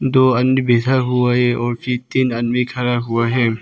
दो आदमी बैठा हुआ है और फिर तीन आदमी खड़ा हुआ है।